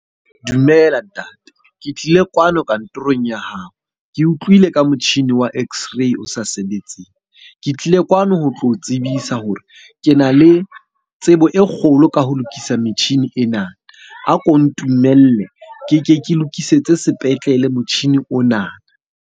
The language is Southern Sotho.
Dumela ntate. Ke tlile kwano kantorong ya hao. Ke utlwile ka motjhini wa x-ray o sa sebetseng. Ke tlile kwano ho tlo o tsebisa hore ke na le tsebo e kgolo ka ho lokisa metjhini ena. A ko ntumelle keke ke lokisetse sepetlele motjhini ona.